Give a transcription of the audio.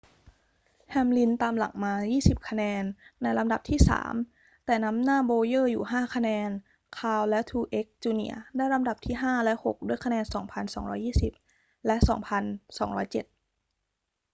แฮมลินตามหลังมา 20 คะแนนในลำดับที่สาม แต่นำหน้าโบว์เยอร์อยู่ 5 คะแนน คาห์นและทรูเอกซ์ จูเนียร์ได้ลำดับที่ห้าและหกด้วยคะแนน 2,220 และ 2207